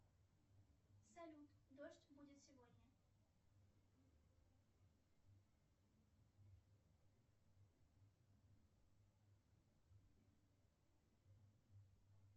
сбер самые лучшие комедии две тысячи девятнадцать